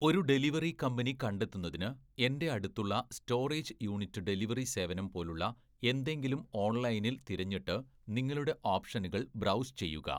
ഒരു delivery company കണ്ടെത്തുന്നതിന്, എന്‍റെ അടുത്തുള്ള സ്റ്റോറേജ് യൂണിറ്റ് ഡെലിവറി സേവനം പോലുള്ള എന്തെങ്കിലും ഓൺലൈനിൽ തിരഞ്ഞിട്ട് നിങ്ങളുടെ ഓപ്ഷനുകൾ ബ്രൗസ് ചെയ്യുക.